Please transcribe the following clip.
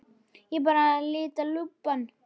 Ég var bara að lita lubbann.